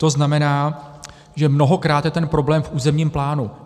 To znamená, že mnohokráte je ten problém v územním plánu.